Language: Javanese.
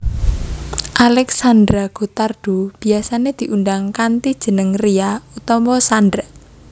Alexandra Gottardo biyasané diundang kanthi jeneng Ria utawa Xandra